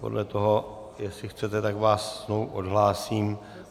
Podle toho, jestli chcete, tak vás znovu odhlásím.